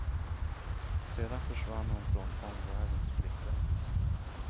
Sedan försvann hon från omvärldens blickar.